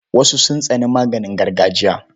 Wasu sun tsani maganin gargajiya.